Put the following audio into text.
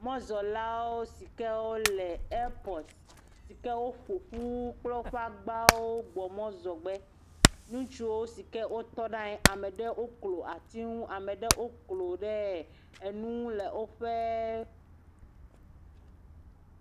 Mɔzɔlawo si kewo le ɛpɔtu si ke woƒo ƒu kple woƒe agbawo gbɔ mɔzɔgbe. Ŋutsuwo si ke wotɔ ɖa anyi, ama ɖe woklo ati ŋu. Ama ɖe woklo ɖe ɛɛ enu ŋu le woƒee.